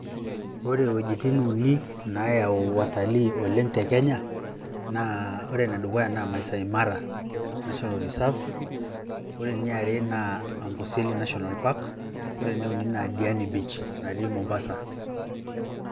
ore wuejitin uni naayau wataliiii oleng te kenya naa ore ene dukuya naa maasai mara national reserve ,ore eniare naa amboseli national park ,ore eneuni naa diani beach natii mombasa.